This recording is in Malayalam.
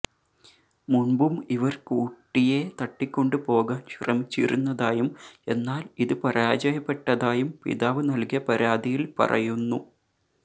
മുന്പും ഇവര് കുട്ടിയെ തട്ടിക്കൊണ്ടുപോകാന് ശ്രമിച്ചിരുന്നതായും എന്നാല് ഇത് പരാജയപ്പെട്ടതായും പിതാവ് നല്കിയ പരാതിയില് പറയുന്നു